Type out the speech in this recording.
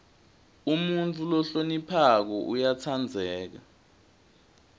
umuntfu lohloniphako uyatsandzeka